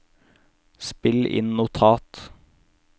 spill inn notat